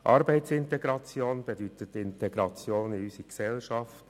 Arbeitsintegration bedeutet Integration in unsere Gesellschaft.